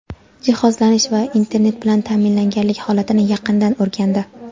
jihozlanish va internet bilan ta’minlanganlik holatini yaqindan o‘rgandi.